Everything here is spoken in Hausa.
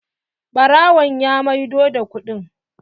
Ɓarawon ya maido da kuɗin?